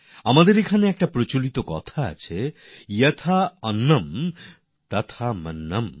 আমাদের এখানে একটি প্রবাদ আছে যথা অন্নম তথা মন্ত্রম